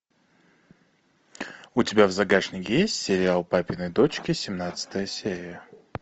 у тебя в загашнике есть сериал папины дочки семнадцатая серия